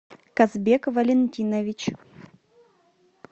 казбек валентинович